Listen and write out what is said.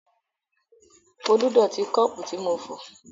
Folú dọ̀tí kọ́ọ́pù tí mo fọ̀.